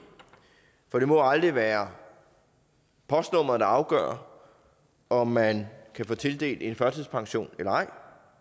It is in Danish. for det må aldrig være postnummeret der afgør om man kan få tildelt en førtidspension eller ej